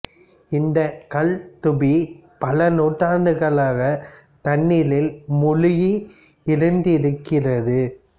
இந்தக் கல் தூபி பல நூற்றாண்டுகளாக தண்ணீரில் மூழ்கி இருந்திருக்கிறது